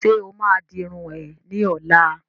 Ṣe o ma di irun é ni ọ̀la?